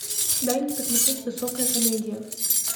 дай мне посмотреть высокая комедия